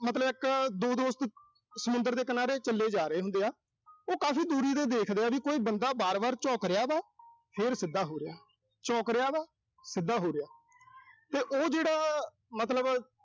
ਮਤਲਬ ਇੱਕ ਦੋ ਦੋਸਤ ਸਮੁੰਦਰ ਦੇ ਕਿਨਾਰੇ ਚੱਲੇ ਜਾ ਰਹੇ ਹੁੰਦੇ ਆ। ਉਹ ਕਾਫ਼ੀ ਦੂਰੀ ਤੇ ਦੇਖਦੇ ਆ ਵੀ ਕੋਈ ਬੰਦਾ ਵਾਰ-ਵਾਰ ਝੁਕ ਰਿਹਾ ਵਾ। ਫਿਰ ਸਿੱਧਾ ਹੋ ਰਿਹਾ। ਝੁਕ ਰਿਹਾ ਵਾ, ਸਿੱਧਾ ਹੋ ਰਿਹਾ। ਤੇ ਉਹ ਜਿਹੜਾ ਮਤਲਬ